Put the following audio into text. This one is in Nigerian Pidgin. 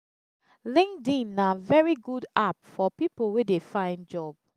linkedin na very good app for pipo wey de find job